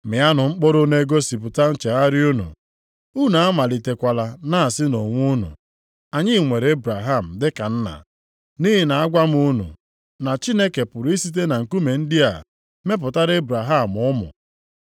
Mịanụ mkpụrụ na-egosipụta nchegharị unu. Unu amalitekwala na-asị onwe unu, ‘Anyị nwere Ebraham dịka nna.’ Nʼihi na agwa m unu na Chineke pụrụ isite na nkume ndị a mepụtara Ebraham ụmụ.